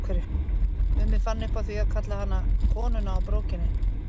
Mummi fann upp á því að kalla hana Konuna á brókinni.